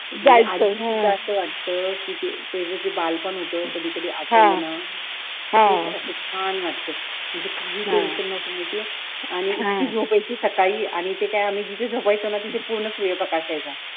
कसं वाटतं कि ते जे बालपण होतं कधीकधी आठवलं ना कसं छान वाटत काही टेन्शन नव्हतं माहितीये किती झोप यायची सकाळी आणि ते काय आम्ही जिथे झोपायचो ना तिथे सूर्यप्रकाश यायचा